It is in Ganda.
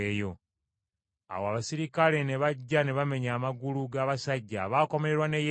Awo abaserikale ne bajja ne bamenya amagulu g’abasajja abaakomererwa ne Yesu.